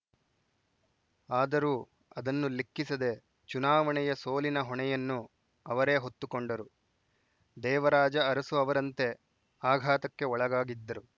ಆದರೂ ಅದನ್ನು ಲೆಕ್ಕಿಸದೆ ಚುನಾವಣೆಯ ಸೋಲಿನ ಹೊಣೆಯನ್ನು ಅವರೇ ಹೊತ್ತುಕೊಂಡರು ದೇವರಾಜ ಅರಸು ಅವರಂತೆ ಆಘಾತಕ್ಕೆ ಒಳಗಾಗಿದ್ದರು